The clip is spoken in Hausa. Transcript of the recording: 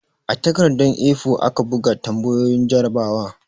A takardar 'A4'aka bugo tambayoyin jarrabawa